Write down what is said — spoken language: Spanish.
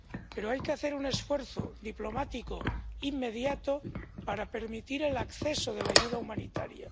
Pero hay que hacer un esfuerzo diplomático inmediato para permitir el acceso de la ayuda humanitaria.